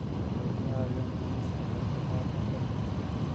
Waxay ka caawiyaan dhimista dhaqdhaqaaqa dadka.